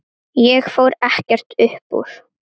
Ég fór ekkert upp úr.